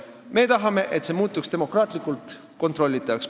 Me tahame, et see muutuks demokraatlikult kontrollitavaks.